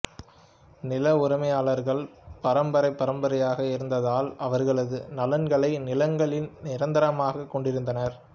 நில உரிமையாளர்கள் பரம்பரை பரம்பரையாக இருந்ததால் அவர்களது நலன்களை நிலங்களில் நிரந்தரமாகக் கொண்டிருந்தனர்